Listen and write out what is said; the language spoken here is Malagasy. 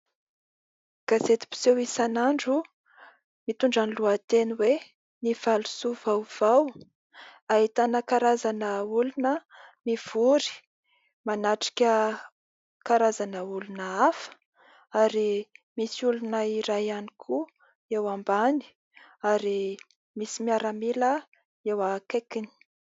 gazety mpiseho isan'andro mitondra ny lohateny hoe:" ny valosoa vaovao" ahitana karazana olona mivory manatrika karazana olona hafa; ary misy olona iray ihany koa eo ambany ary misy miaramila eo akaikiny